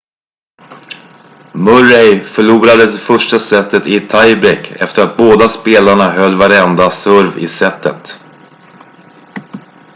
murray förlorade det första setet i ett tiebreak efter att båda spelarna höll varenda serve i setet